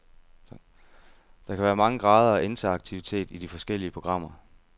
Der kan være mange grader af interaktivitet i de forskellige programmer.